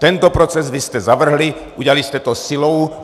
Tento proces vy jste zavrhli, udělali jste to silou.